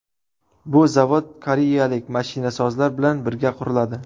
Bu zavod koreyalik mashinasozlar bilan birga quriladi.